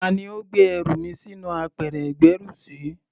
Tá ni ó gbé ẹrù mi sínú apẹ̀rẹ̀ ìgbẹ́rùsí?